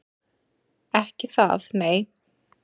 Ekki það nei.